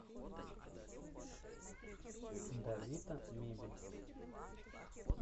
давита мебель